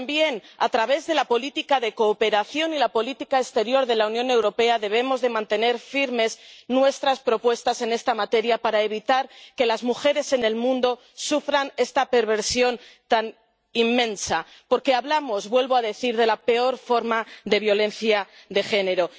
Pero, también a través de la política de cooperación y la política exterior de la Unión Europea debemos mantener firmes nuestras propuestas en esta materia para evitar que las mujeres en el mundo sufran esta perversión tan inmensa, porque hablamos —vuelvo a decir— de la peor forma de violencia de género.